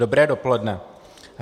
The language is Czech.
Dobré dopoledne.